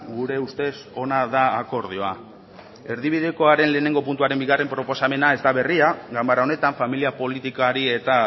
gure ustez ona da akordioa erdibidekoaren lehenengo puntuaren bigarren proposamena ez da berria ganbara honetan familia politikari eta